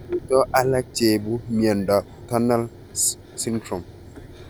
Mito alak cheipu miondop Tunnel syndrome